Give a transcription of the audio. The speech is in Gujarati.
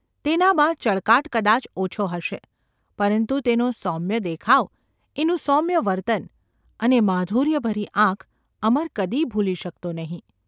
તેનામાં ચળકાટ કદાચ ઓછો હશે, પરંતુ તેનો સૌમ્ય દેખાવ, એનું સૌમ્ય વર્તન અને માધુર્યભરી આંખ અમર કદી ભૂલી શકતો નહિ.